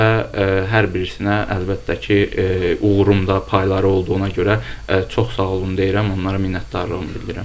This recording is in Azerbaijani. Və hər birisinə əlbəttə ki, uğurumda payları olduğuna görə çox sağ olun deyirəm, onlara minnətdarlığımı bildirirəm.